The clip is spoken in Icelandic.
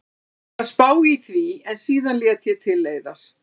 Ég var að spá í því en síðan lét ég til leiðast.